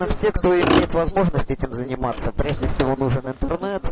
а все кто имеет возможность этим заниматься прежде всего нужен интернет